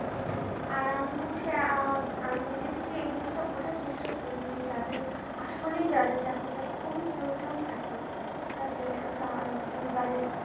আর আমি হচ্ছি আর আমি নিজে থেকেই এই জিনিসটা বোঝার চেষ্টা করি যে যাদের আসলে চাকরিটা খুবই প্রয়োজন থাকে আর যে পরিবারের